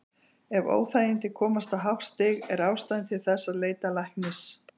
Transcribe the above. Ef óþægindin komast á hátt stig er ástæða til þess að leita læknis.